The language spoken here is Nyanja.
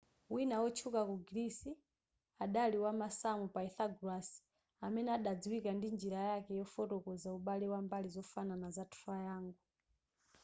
wina wotchuka ku greece adali wamasamu pythagoras amene adadziwika ndi njira yake yofotokoza ubale wa mbali zofanana za triangle